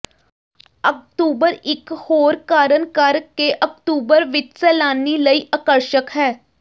October ਇਕ ਹੋਰ ਕਾਰਨ ਕਰਕੇ ਅਕਤੂਬਰ ਵਿਚ ਸੈਲਾਨੀ ਲਈ ਆਕਰਸ਼ਕ ਹੈ